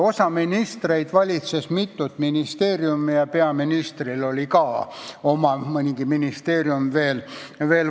Osa ministreid valitses mitut ministeeriumi ja peaministril oli ka oma ministeerium valitseda.